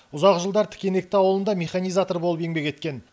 ұзақ жылдар тікенекті ауылында механизатор болып еңбек еткен